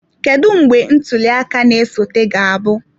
Kedu mgbe ntuli aka na-esote ga-abụ?